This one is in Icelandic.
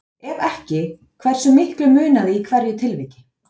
Ef ekki, hversu miklu munaði í hverju tilviki?